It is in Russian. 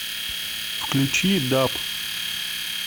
включи даб